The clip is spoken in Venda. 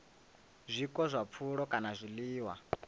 zwiko zwa pfulo kana zwiḽiwa